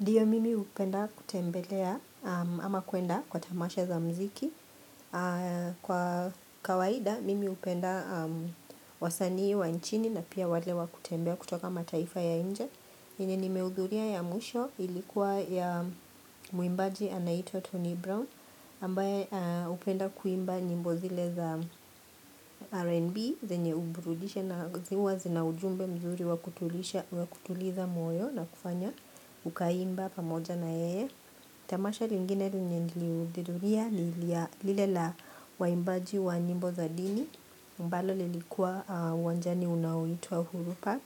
Ndio, mimi hupenda kutembelea, ama kuenda kwa tamasha za mziki. Kwa kawaida mimi hupenda wasanii wa nchini, na pia wale wa kutembea kutoka mataifa ya nje yenye nimehudhuria ya mwisho ilikuwa ya mwimbaji anaitwa Tony Brown ambaye hupenda kuimba nyimbo zile za R&B, zenye huburudisha, na huwa zina ujumbe mzuri wakutuliza moyo, na kufanya ukaimba pamoja naye. Tamasha lingine lenye nilihudhuria ni lile la waimbaji wa nyimbo za dini. Ambalo lilikuwa uwanjani unaoitwa uhuru park.